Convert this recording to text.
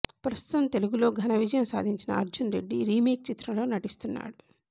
ప్రస్తుతం తెలుగులో ఘనవిజయం సాధించిన అర్జున్ రెడ్డి రీమేక్ చిత్రంలో నటిస్తున్నాడు